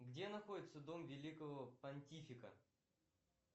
где находится дом великого пантифика